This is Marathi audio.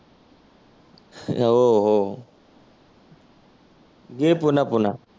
हो हो घे पुन्हा पुन्हा.